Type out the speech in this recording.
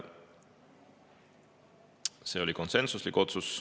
See oli konsensuslik otsus.